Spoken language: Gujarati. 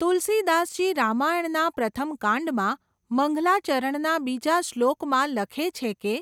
તુલસીદાસજી રામાયણના પ્રથમ કાંડમાં, મંગલા ચરણના બીજા શ્લોક માં લખે છે કે